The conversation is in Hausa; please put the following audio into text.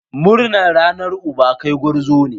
Murnar Ranar Uba! kai gwarzo ne!